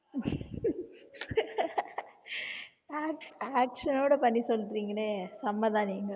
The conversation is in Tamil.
action ஓட பண்ணி சொல்றீங்களே செம்மைதான் நீங்க